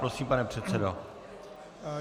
Prosím, pane předsedo.